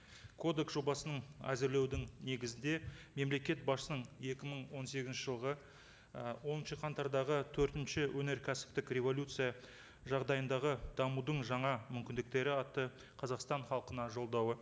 кодекс жобасының әзірлеудің негізінде мемлекет басшысының екі мың он сегізінші жылғы ы оныншы қаңтардағы төртінші өнеркәсіптік революция жағдайындағы дамудың жаңа мүмкіндіктері атты қазақстан халқына жолдауы